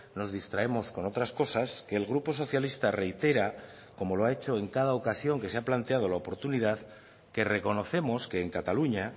nos distraemos con otras cosas que el grupo socialista reitera como lo ha hecho en cada ocasión que se ha planteado la oportunidad que reconocemos que en cataluña